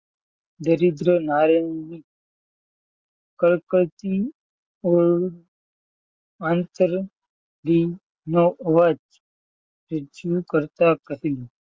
દરિદ્ર